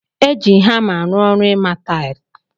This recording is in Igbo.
Eji hamaarụ ọrụ ima taghi.